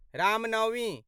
Ram Navami